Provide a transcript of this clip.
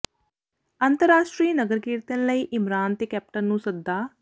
ਅੰਤਰਰਾਸ਼ਟਰੀ ਨਗਰ ਕੀਰਤਨ ਲਈ ਇਮਰਾਨ ਤੇ ਕੈਪਟਨ ਨੂੰ ਸੱਦਾ